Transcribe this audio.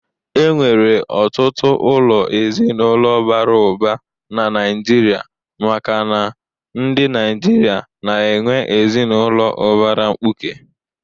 E nwere ọtụtụ ụlọ ezinụlọ bara ụba na Naịjirịa makana ndị Naịjirịa na-enwe ezinụlọ ubara mkpuke.